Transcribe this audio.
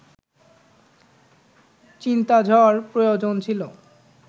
চিন্তাঝড় প্রয়োজন ছিল